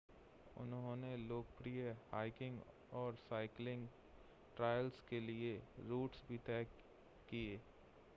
उन्होंने लोकप्रिय हाइकिंग और साइक्लिंग ट्रैल्स के लिए रूट्स भी तय किए